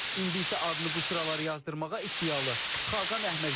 İndi isə adını bu sıralara yazdırmağa iddialı Xaqan Əhməd gəlir.